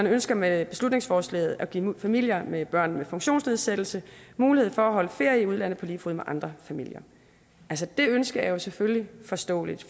ønsker med beslutningsforslaget at give familier med børn med funktionsnedsættelse mulighed for at holde ferie i udlandet på lige fod med andre familier altså det ønske er jo selvfølgelig forståeligt